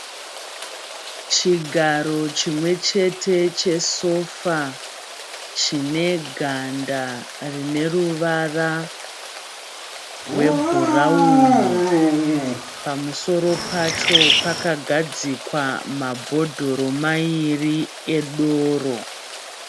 Chigaro chimwe chete chesofa chine ganda rine ruvara rwebhurawuni pamusoro pacho pakagadzikwa mabhodhoro maviri edoro.